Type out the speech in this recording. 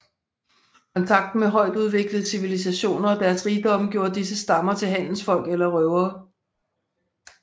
Kontakten med højtudviklede civilisationer og deres rigdomme gjorde disse stammer til handelsfolk eller røvere